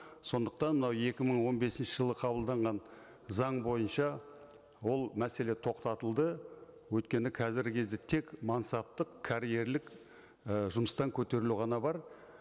сондықтан мынау екі мың он бесінші жылы қабылданған заң бойынша ол мәселе тоқтатылды өйткені қазіргі кезде тек мансаптық карьерлік і жұмыстан көтерілу ғана бар